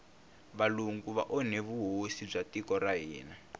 valungu va onhe vuhosi bya tiko ra hina